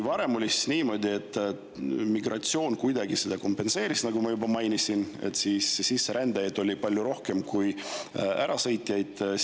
Varem oli niimoodi, et migratsioon seda kompenseeris, nagu ma juba mainisin, sisserändajaid oli palju rohkem kui ärasõitjaid.